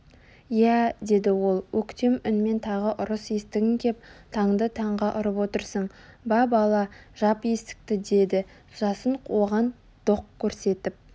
иә деді ол өктем үнмен тағы ұрыс естігің кеп таңды таңға ұрып отырсың ба бала жап есікті деді жасын оған доқ көрсетіп